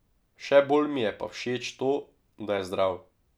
Še bolj mi je pa všeč to, da je zdrav.